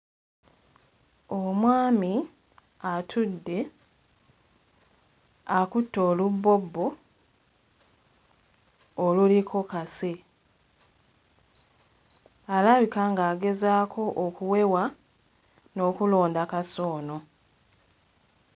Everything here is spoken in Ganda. Omwami atudde akutte olubbobbo oluliko kase akabika ng'agezaako okuwewa n'okulonda kase ono.